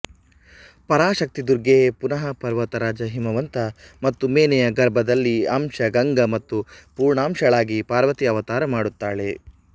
ಪರಾಶಕ್ತಿ ದುರ್ಗೆಯೇ ಪುನಃ ಪರ್ವತರಾಜ ಹಿಮವಂತ ಮತ್ತು ಮೇನೆಯ ಗರ್ಭದಲ್ಲಿ ಅಂಶ ಗಂಗಾ ಮತ್ತು ಪೂರ್ಣಾಂಶಳಾಗಿ ಪಾರ್ವತಿ ಅವತಾರ ಮಾಡುತ್ತಾಳೆ